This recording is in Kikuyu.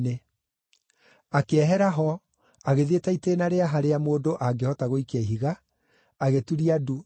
Akĩehera ho, agĩthĩi ta itĩĩna rĩa harĩa mũndũ angĩhota gũikia ihiga, agĩturia ndu akĩhooya,